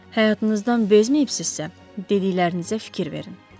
Həyatınızdan bezməyibsizsə, dediklərinizə fikir verin.